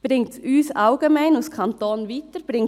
Bringt es uns allgemein als Kanton weiter?